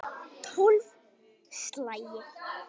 Tólf slagir!